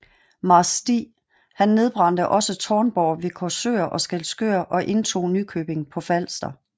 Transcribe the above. Marsk Stig Han nedbrændte også Tårnborg ved Korsør og Skelskør og indtog Nykøbing på Falster